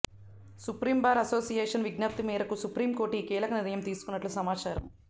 supreme Bar Association విజ్ఞప్తి మేరకు Supreme Court ఈ కీలక నిర్ణయం తీసుకున్నట్లు సమాచారం